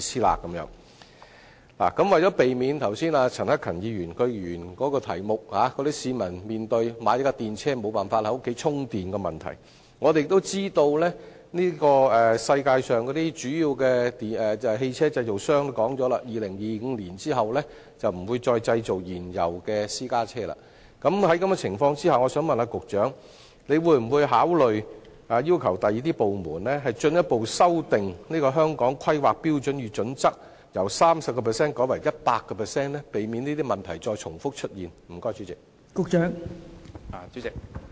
為了避免剛才陳克勤議員在主體質詢指出，市民面對購買電動車後無法在屋苑充電的問題，加上我們知道，全球主要汽車製造商均已表明在2025年後不會再製造燃油私家車，請問局長會否考慮要求其他部門進一步修訂《香港規劃標準與準則》，將建議的 30% 改為 100%， 從而避免重複出現這些問題？